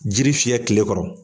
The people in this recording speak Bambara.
Jiri fiyɛ kile kɔrɔ.